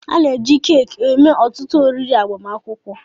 A na-eji keeki eme ọtụtụ oriri agbamakwụkwọ.